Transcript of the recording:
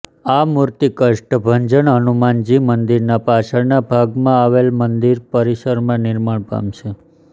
આ મૂર્તિ કષ્ટભંજન હનુમાનજી મંદિરના પાછળના ભાગમાં આવેલ મંદિર પરિસરમાં નિર્માણ પામશે